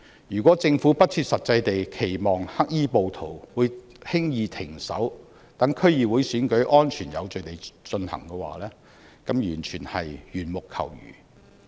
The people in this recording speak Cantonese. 如果政府不切實際地期望黑衣暴徒會輕易停止，讓區議會選舉安全有序地進行的話，這完全是緣木求魚。